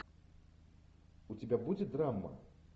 у тебя будет драма